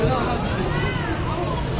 Nə olur ki?